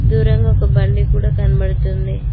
దూరంగా ఒక బండి కూడా కనబడుతుంది.